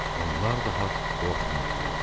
Onlar daha qorxmurdular.